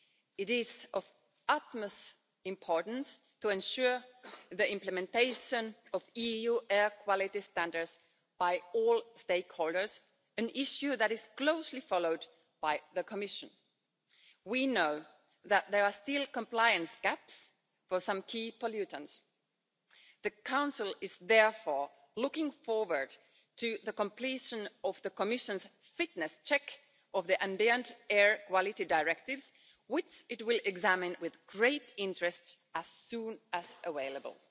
It is of the utmost importance to ensure the implementation of EU air quality standards by all stakeholders, an issue that is closely followed by the Commission. We know that there are still compliance gaps for some key pollutants. The Council is therefore looking forward to the completion of the Commission's fitness check of the Ambient Air Quality Directives, which it will examine with great interest as soon as available.